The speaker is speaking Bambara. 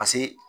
Paseke